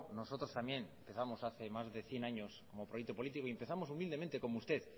nosotros también empezamos hace más de cien años como proyecto político y empezamos humildemente como usted